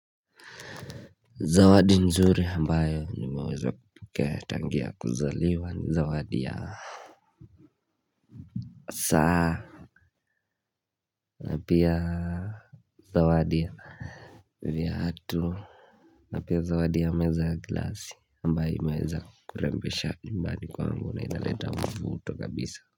Zawadi nzuri ambayo nimeweza kupokea tangia kuzaliwa ni zawadi ya saa napia Zawadi Vyatu Napia zawadi ya meza gilasi ambayo imeza kurembesha nyumbani kwangu na inaleta mvuto kabisa.